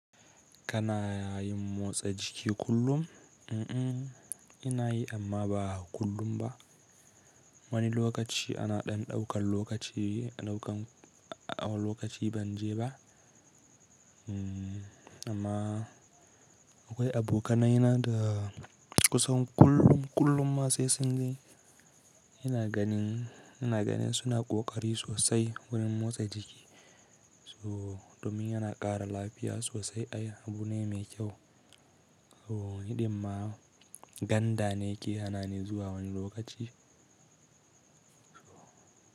Kana yin motsa jiki kullum? Mm-mm, ina yi amma ba kullum ba. Wani lokaci ana ɗan ɗaukan lokaci, ɗaukan lokaci ban je ba. Amma akwai abokanai na da kusan kullum, kullum ma sai sun je. Ina ganin, ina ganin suna ƙoƙari sosai wurin motsa jiki. So domin yana ƙara lafiya sosai ai abu ne mai kyau. So hiɗimar ganda ne ke hana ni zuwa wani lokaci. So.